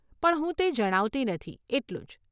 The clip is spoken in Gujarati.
પણ હું તે જણાવતી નથી, એટલું જ.